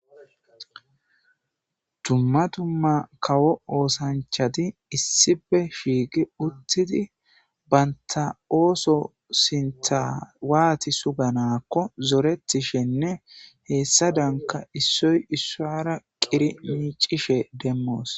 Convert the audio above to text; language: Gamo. Dumma dumma kawo osanchati issipe shiiqi utidi banta oso sintha wati suganako zoretishenne hesadanka issoy issuwara qidhi micishen demos